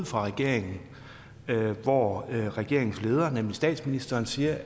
fra regeringen hvor regeringens leder nemlig statsministeren siger